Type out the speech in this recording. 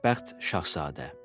Xoşbəxt Şahzadə.